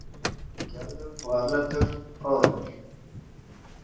Gerður og Erlendur, bróðir hennar.